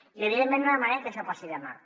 i evidentment no demanem que això passi demà